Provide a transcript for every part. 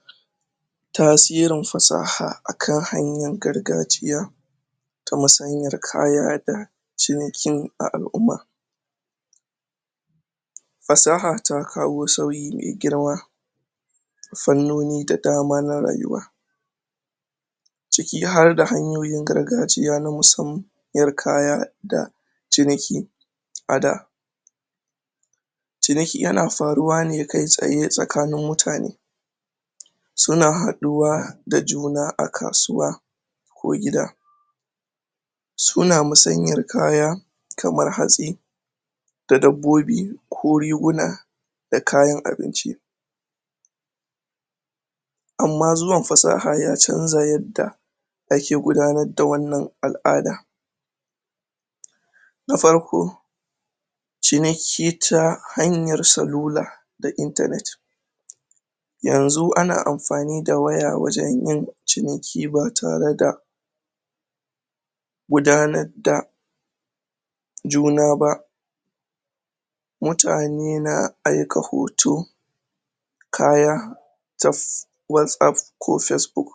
? tasirin fasaha akan harkan gargajiya ta musanyar kaya da cinikin a al'uma? fasaha ta kawo sauyi mai girma fannoni da dama na rayuwa ciki harda hanyoyin gargajiya na musamman yar kaya da ciniki a da ciniki yana faruwa ne kai tsaye tsakanin mutane? suna haɗuwa da juna a kasuwa ko gida suna musanyar kaya kamar hatsi da dabbobi ko riguna da kayan abinci amma zuwan fasaha ya canza yadda ake gudanar da wannan al'ada? na farko ciniki ta hanyar salula da internet? yanzu ana anfani da waya wajen yin ciniki ba tare da gudanar da juna ba mutane na aika hoto kaya taf watsapp ko facebook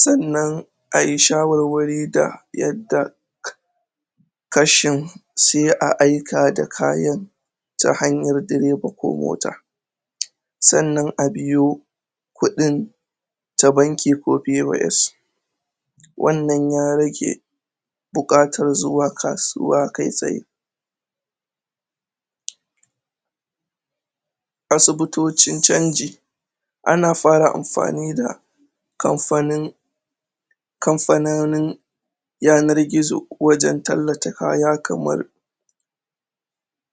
sannan ayi shawarwari da yadda? kashin sai a aika da kayan ta hanyar direba ko mota? sannan a biyo kuɗin ta banki ko pos wannan ya rage buƙatar zuwa kasuwa kai tsaye? asibitocin canji ana fara anfani da kamfanin kamfanonin yanar gizo wajen tallata kaya kamar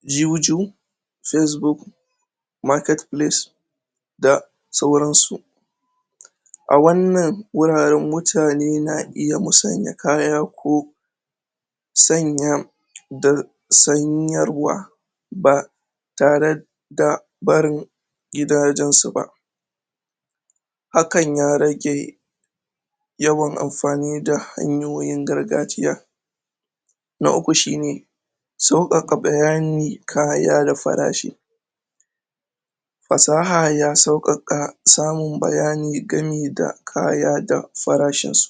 juju facebook marketplace da sauransu? a wannan wuraren mutane na iya musanya kaya ko sanya? da sanyarwa ba tare da barin gidajen su ba hakan ya rage yawan anfani da hanyoyin gargajiya na uku shine sauƙaƙa bayani kaya da farashi fasaha ya sauƙaƙa samun bayani gami da kaya da kuma farashin su